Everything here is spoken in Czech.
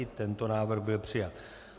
I tento návrh byl přijat.